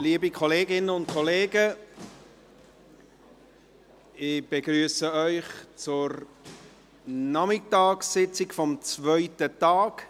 Liebe Kolleginnen und Kollegen, ich begrüsse Sie zur Nachmittagssitzung des zweiten Tages.